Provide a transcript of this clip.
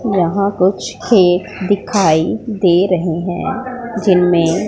यहां कुछ खेत दे रहे है जिनमें--